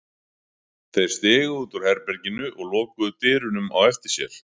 Þeir stigu út úr herberginu og lokuðu dyrunum á eftir sér.